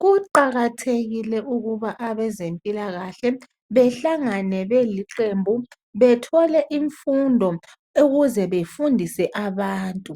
Kuqakathekile ukuba abezempilakahle bahlangane beliqembu bethole imfundo ukuze befundise abantu